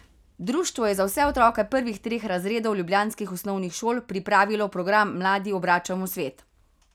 Društvo je za vse otroke prvih treh razredov ljubljanskih osnovnih šol pripravilo program Mladi obračamo svet.